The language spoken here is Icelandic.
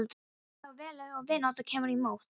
Er því þá vel varið ef vinátta kemur í mót.